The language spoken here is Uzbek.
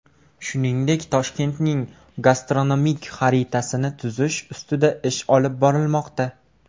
Shuningdek, Toshkentning gastronomik xaritasini tuzish ustida ish olib borilmoqda.